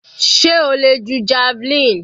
Sé o le ju javelin?